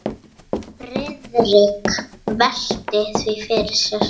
Friðrik velti því fyrir sér.